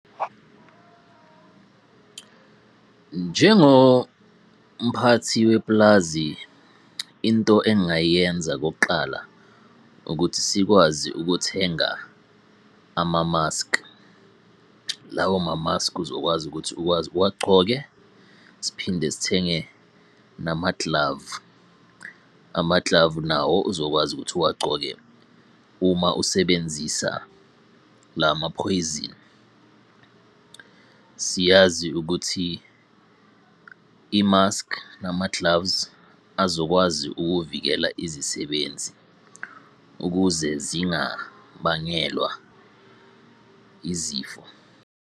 Njengo mphathi wepulazi, into engayenza okokuqala ukuthi sikwazi ukuthenga amamaski. Lawo mamaski uzokwazi ukuthi ukwazi uwagcoke. Siphinde sithenge namaglavu, amaglavu nawo uzokwazi ukuthi uwagcoke uma usebenzisa lama phoyizeni. Siyazi ukuthi imaski nama-gloves azokwazi ukuvikela izisebenzi ukuze zingabangelwa izifo.